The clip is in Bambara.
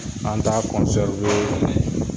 An t'a